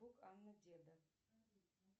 анны деда